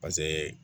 Pase